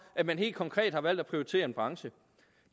at man helt konkret har valgt at prioritere en branche